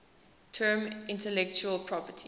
term intellectual property